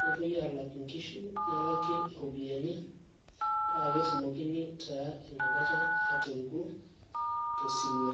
nepuoi aalak inkishu nelaki iropiyiani paa ketumokini taa inakata aatoriku tosirua.